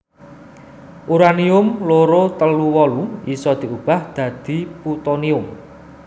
Uranium loro telu wolu isa diubah dadi Putonium